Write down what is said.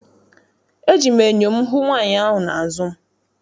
Eji m enyo m hụ nwaanyị ahụ n'azụ m.